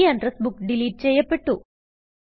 ഈ address book delete ചെയ്യപ്പെട്ടു